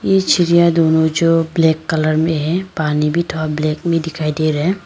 ए चिड़िया दोनों जो ब्लैक कलर में है पानी भी थोड़ा ब्लैक में दिखाई दे रहे हैं।